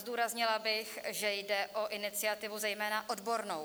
Zdůraznila bych, že jde o iniciativu zejména odbornou.